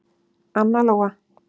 Anna Lóa.